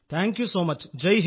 thank you so much